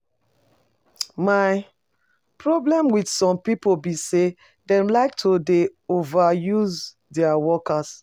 My problem with some people be say dem like to dey overuse dia workers